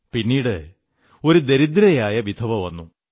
പിന്നീട് ഒരു ദരിദ്രയായ വിധവ വന്നു